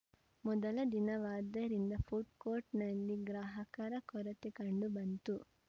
ಮೊದಲ ದಿನವಾದ್ದರಿಂದ ಫುಡ್‌ಕೋರ್ಟ್‌ನಲ್ಲಿ ಗ್ರಾಹಕರ ಕೊರತೆ ಕಂಡು ಬಂತು